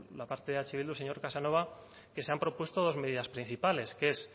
la parte de eh bildu señor casanova que se han propuesto dos medidas principales que es